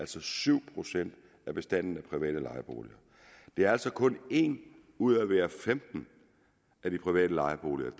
til syv procent af bestanden af private lejeboliger det er altså kun en ud af hver femten af de private lejeboliger